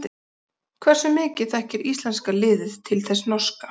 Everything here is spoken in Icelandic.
Hversu mikið þekkir íslenska liðið til þess norska?